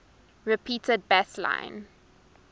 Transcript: repeated bass line